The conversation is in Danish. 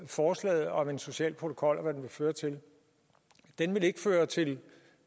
forslaget om en social protokol og hvad den vil føre til den vil ikke føre til